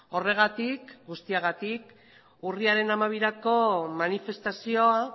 horregatik guztiagatik urriaren hamabirako manifestazioa